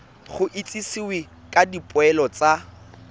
go itsisiwe ka dipoelo tsa